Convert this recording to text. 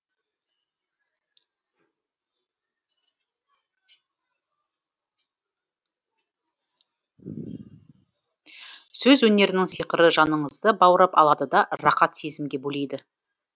сөз өнерінің сиқыры жаныңызды баурап алады да рақат сезімге бөлейді